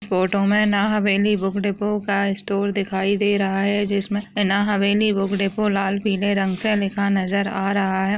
Photo में Nhaveli book depot का store दिखाई दे रहा है जिसमे न्हावेली लाल पिले रंग से लिखा नजर आ रहा है।